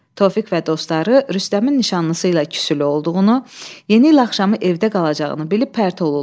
Tofiq və dostları Rüstəmin nişanlısı ilə küsülü olduğunu, yeni il axşamı evdə qalacağını bilib pərt olurlar.